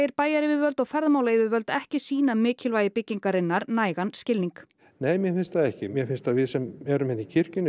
bæjaryfirvöld og ferðamálayfirvöld ekki sýna mikilvægi byggingarinnar nægan skilning nei mér finnst það ekki mér finnst að við sem erum hér í kirkjunni